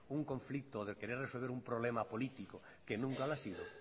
un conflicto de querer resolver un problema político que nunca lo ha sido